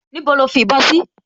Níbo ni ó fi ìbọn sí?